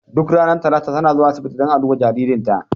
Duk ranar talata ta na zuwa asibiti dan a duba jaririnta.